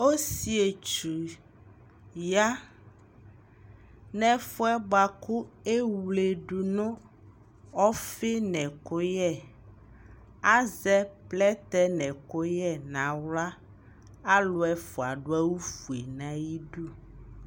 Osietsu ya nʋ ɛfu yɛ bua kʋ ewledʋ nʋ ɔfi nʋ ɛkuyɛ Azɛ plɛtɛ nʋ ɛkʋyɛ nʋ aɣla Alʋ ɛfua dʋ awufue nʋ ayʋdu